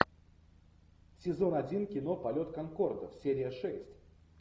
сезон один кино полет конкорда серия шесть